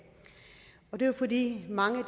det er jo fordi mange af